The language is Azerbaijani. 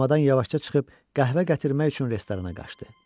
Komadan yavaşca çıxıb qəhvə gətirmək üçün restorana qaçdı.